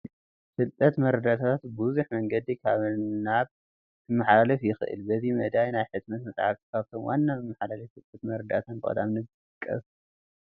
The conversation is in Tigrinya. ፍልጠትን መረዳእታን ብብዙሕ መንገዲ ካብ ናብ ክመሓላለፍ ይኽእል፡፡ በዚ መዳይ ናይ ሕትመት መፃሕፍቲ ካብቶም ዋና መመሓላለፌ ፍልጠትን መረዳእታን ብቐዳምነት ዝጥቀሱ እዮም፡፡